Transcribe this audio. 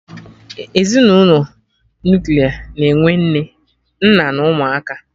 Ezinụlọ Nuklia na-enwe Nne, nna na ụmụaka